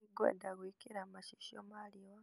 Nĩngwenda gwikira macicio ma riũa.